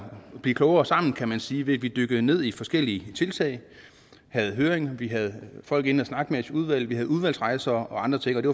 blive klogere sammen kan man sige ved at vi dykkede ned i forskellige tiltag vi havde høring vi havde folk inde og snakke med udvalget havde udlandsrejser og andre ting det